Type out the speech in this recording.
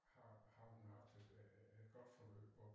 Har har hun haft et godt forløb og